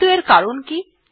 কিন্তু এর কারণ কি160